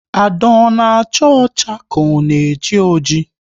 Ada ona acha ọcha ka ọ na eji oji?